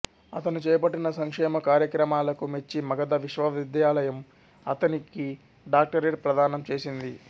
అతను చేపట్టిన సంక్షేమ కార్యక్రమాలకు మెచ్చి మగధ విశ్వవిద్యాలయం అతనికి డాక్టరేట్ ప్రధానం చేసింది